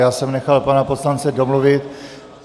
Já jsem nechal pana poslance domluvit.